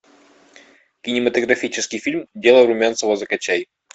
кинематографический фильм дело румянцева закачай